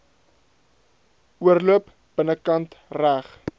oorloop binnekant reg